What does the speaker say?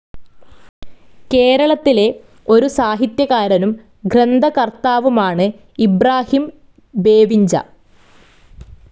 കേരളത്തിലെ ഒരു സാഹിത്യകാരനും, ഗ്രന്ഥകർത്താവുമാണ് ഇബ്രാഹിം ബേവിഞ്ച.